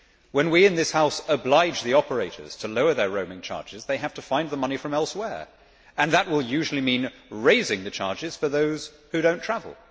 When we in this House oblige the operators to lower their roaming charges they have to find the money from elsewhere, and that will usually mean raising the charges for those who do not travel.